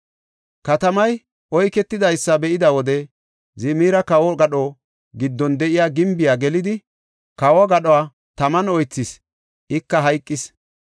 Katamay oyketidaysa be7ida wode Zimiri kawo gadho giddon de7iya gimbiya gelidi kawo gadho taman oythis; ika hayqis.